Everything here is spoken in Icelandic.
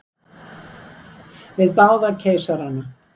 Við báða keisarana.